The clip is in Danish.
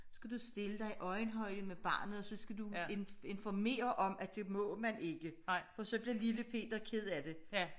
Skal du stille dig i øjenhøjde med barnet og så skal du informere om at det må man ikke for så bliver lille Peter ked af det